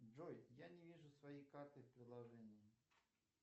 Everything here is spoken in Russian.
джой я не вижу своей карты в приложении